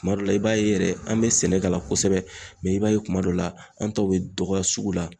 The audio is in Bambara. Kuma dɔ la i b'a ye yɛrɛ an bɛ sɛnɛk'a la kosɛbɛ, mɛ i b'a ye kuma dɔw la, an taw bɛ dɔgɔya sugu la.